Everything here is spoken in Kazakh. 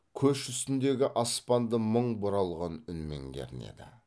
көш үстіндегі аспанды мың бұралған үнмен кернеді